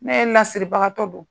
Ne l'asiribagatɔ don